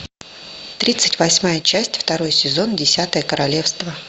тридцать восьмая часть второй сезон десятое королевство